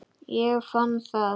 Ég fann það!